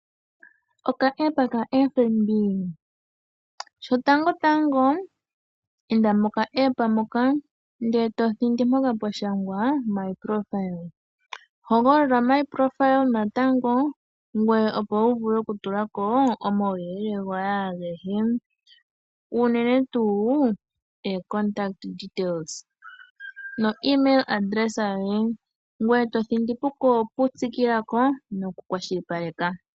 Oka app kaFNB. Shotangotango inda mpoka pwa shangwa ndele to thindi mpoka pemwa shangwa 'my profile'. Hogolola omy profile natango ngoye opo wu vule oku tula ko omauyelele goye agehe. Ngoye to contact details dhoye noemail address yoye, ngoye to tsikile ko noku kwashilipaleka.